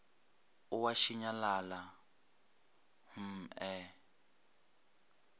o a šinyalala hm e